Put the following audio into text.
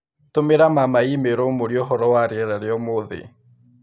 Tũmĩra mama i-mīrū ũmũrĩe ũhoro wa rĩera rĩa ũmũthĩ